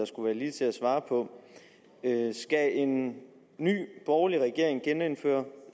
skulle være lige til at svare på skal en ny borgerlig regering genindføre